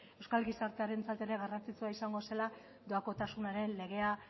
euskal gizartearentzat ere garrantzitsua izango zela doakotasunaren legea